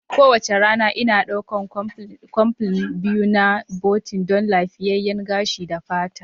Kowace rana, Ina ɗaukar capsule biyu na biotin don lafiyayyen fata da gashi.